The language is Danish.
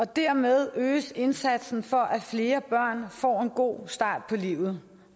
dermed øges indsatsen for at flere børn får en god start på livet